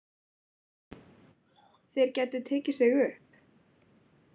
Þeir gætu tekið sig upp.